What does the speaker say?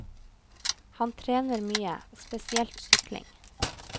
Han trener mye, spesielt sykling.